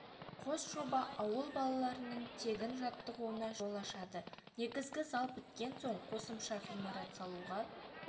қос жоба ауыл балаларының тегін жаттығуына жол ашады негізгі зал біткен соң қосымша ғимарат салуға